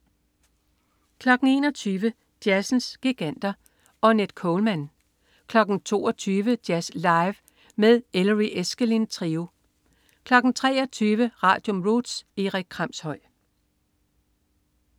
21.00 Jazzens giganter. Ornette Coleman 22.00 Jazz live med med Ellery Eskelin Trio 23.00 Radium. Roots. Erik Kramshøj